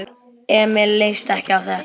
Emil leist ekki á þetta.